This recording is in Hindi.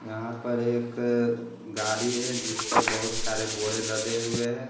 यहाँ पर एक गाड़ी है जिस पर बहुत सारे बोड़े लदे हुए हैं।